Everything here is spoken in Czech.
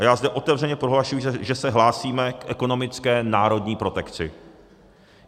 A já zde otevřeně prohlašuji, že se hlásíme k ekonomické národní protekci.